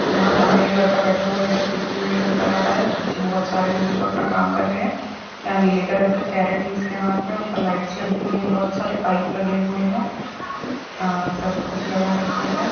यहाँ सामने एक लड़का बैठा हुआ है इधर देखते हुए नज़र आ रहा है पीछे बहुत सारे लोग जो अपना काम कर रहे है या नीले कलर का कॅरेट है जिसके हात मे उपर लाइटस लगी हुई है बहूत सारे पाइप लगे हुए है अ सरपे कुच्छ लगा रखा है।